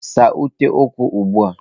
Saa ute ụkwụ ugbu a!